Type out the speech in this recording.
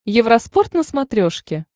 евроспорт на смотрешке